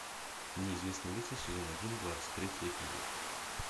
неизвестные лица сезон один двадцать третий эпизод